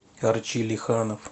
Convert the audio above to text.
арчи лиханов